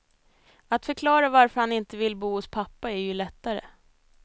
Att förklara varför man inte vill bo hos pappa är ju lättare.